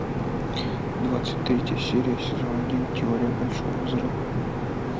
двадцать третья серия сезон один теория большого взрыва